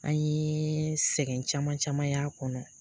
An ye sɛgɛn caman caman y'a kɔnɔ